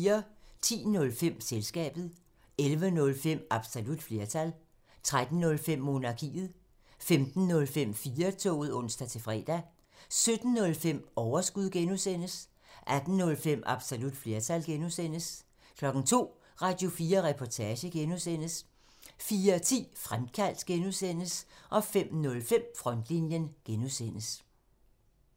10:05: Selskabet 11:05: Absolut flertal 13:05: Monarkiet 15:05: 4-toget (ons-fre) 17:05: Overskud (G) 18:05: Absolut flertal (G) 02:00: Radio4 Reportage (G) 04:10: Frontlinjen (G) 05:05: Fremkaldt (G)